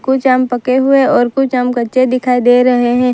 कुछ आम पके हुए और कुछ आम कच्चे दिखाई दे रहे हैं।